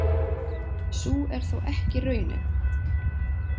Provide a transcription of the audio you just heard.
Sú er þó ekki raunin.